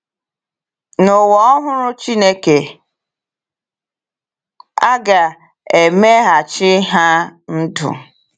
N’ụwa ọhụrụ Chineke, a ga-emeghachi ha ndụ.